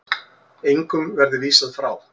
Engum verði vísað frá.